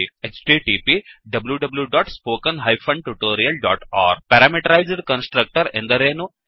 httpwwwspoken tutorialಒರ್ಗ್ parameterized constructor ಎಂದರೇನು